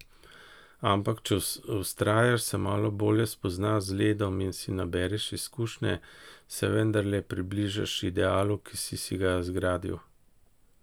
Ampak če vztrajaš, se malo bolje spoznaš z ledom in si nabereš izkušnje, se vendarle približaš idealu, ki si si ga zgradil.